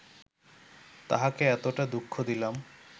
তাঁহাকে এতটা দুঃখ দিলাম